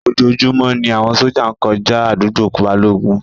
Ojoojúmọ́ ni àwọn sójà ń kọjá àdúgbò Balógun